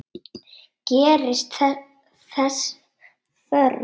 Gerist þess þörf.